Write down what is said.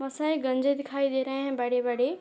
बोहोत सारे गंजे दिखाई दे रहे है बड़े - बड़े।